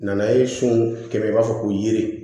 Nanaye sun kɛmɛ i b'a fɔ ko yiri